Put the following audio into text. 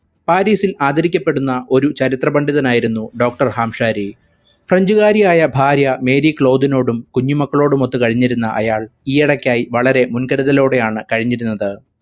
പാരിസിൽ ആദരിക്കപ്പെടുന്ന ഒരു ചരിത്ര പണ്ഡിതനായിരുന്നു doctor ഹാംശാരി french കാരിയായ ഭാര്യ മേരി ക്ലോദിനോടും കുഞ്ഞുമക്കളോടുമൊത്തു കഴിഞ്ഞിരുന്ന അയാൾ ഈയിടെക്കായി വളരെ മുൻകരുതലോടെ ആണ് കഴിഞ്ഞിരുന്നത്.